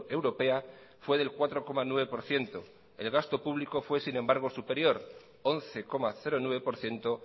europea fue del cuatro coma nueve por ciento el gasto público fue sin embargo superior once coma nueve por ciento